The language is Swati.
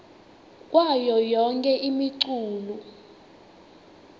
kwayo yonkhe imiculu